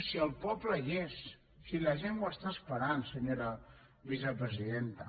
si el poble hi és si la gent ho està esperant senyora vicepresidenta